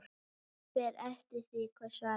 Fer eftir því hver svarar.